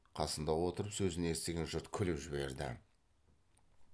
қасында отырып сөзін естіген жұрт күліп жіберді